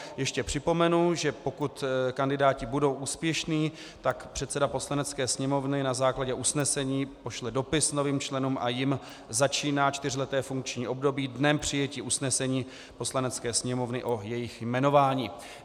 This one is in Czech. Ještě připomenu, že pokud kandidáti budou úspěšní, tak předseda Poslanecké sněmovny na základě usnesení pošle dopis novým členům a jim začíná čtyřleté funkční období dnem přijetí usnesení Poslanecké sněmovny o jejich jmenování.